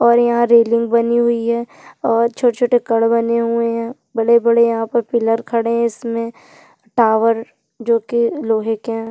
और यहा रैलीन बनी हुई है और छोटे छोटे कड़ बने हुए है बड़े - बड़े यहाँ पे पिल्लर खड़े है इसमे टावर जोकी लोहै का है ।